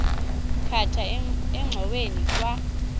khatha engxoweni kwa